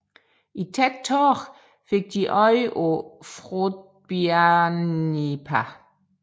I tæt tåge fik de øje på Froðbiarnípa